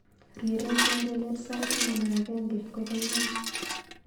Rirei kengelet sait taman ak agenge kogaimen